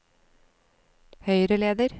høyreleder